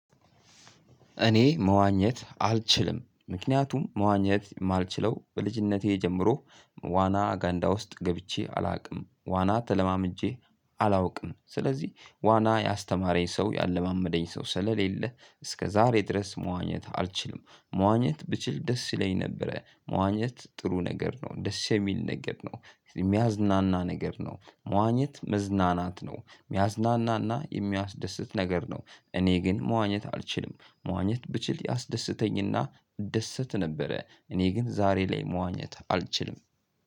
እኔ መዋኘት አልችልም ምክንያቱም መዋኘት የማልችለው በልጅነቴ ጀምሮ ዋና ገንዳ ውስጥ ገብቼ አላውቅም ዋና ተለማምጄ አላውቅም ስለዚህ ዋና ያስተማረኝ ሰው ያለማመደኝ ሰው ስለሌለ እስከዛሬ ድረስ መዋኘት አልችልም። መዋኘት ብችል ደስ ይለኝ ነበረ መዋኘት ደስ የሚል ነገር ነው ጥሩ ነገር ነው። የሚያዝናና ነገር ነው መዋኘት መዝናናት ነው የሚያዝናናና የሚያስደስት ነገር ነው። እኔ ግን መዋኘት አልችልም። መዋኘት ብችል ያስደስተኝና እደሰት ነበረ። እኔ ግን ዛሬ ላይ መዋኘት አልችልም።